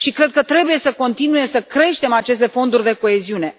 Și cred că trebuie să continuăm să creștem aceste fonduri de coeziune.